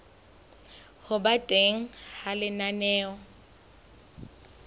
ho ba teng ha lenaneo